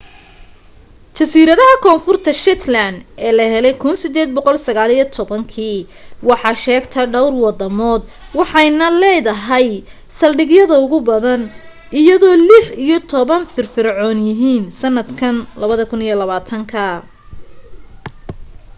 jasiiradaha koonfurta shetland ee la helay 1819 waxaa sheegta dhowr wadamood waxayna leedahay saldhigyada ugu badan iyadoo lix iyo toban ay firfircoon yihiin sannadka 2020